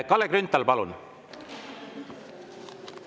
Kalle Grünthal, palun!